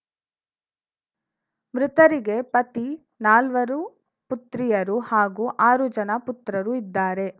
ಮೃತರಿಗೆ ಪತಿ ನಾಲ್ವರು ಪುತ್ರಿಯರು ಹಾಗೂ ಆರು ಜನ ಪುತ್ರರು ಇದ್ದಾರೆ